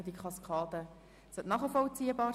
Ich denke, diese Kaskade ist nachvollziehbar.